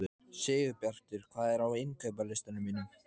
Sigurbjartur, hvað er á innkaupalistanum mínum?